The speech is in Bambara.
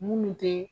Munnu te